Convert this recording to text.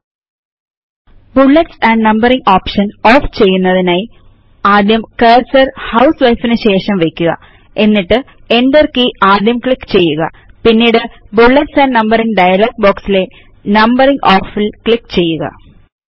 ഇബുല്ലെറ്റ്സ് and numbering option off ചെയ്യുന്നതിനായി ആദ്യം cursor HOUSEWIFEന് ശേഷം വയ്ക്കുക എന്നിട്ട് Enter കീ ആദ്യം ക്ലിക്ക് ചെയ്യുക പിന്നീട് ബുള്ളറ്റ്സ് ആൻഡ് Numberingഡയലോഗ് ബോക്സ് ലെ നമ്പറിംഗ് ഓഫ്ൽ ക്ലിക്ക് ചെയ്യുക